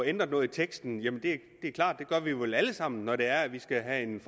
ændre noget i teksten det er klart at vi vel alle sammen når det er at vi skal have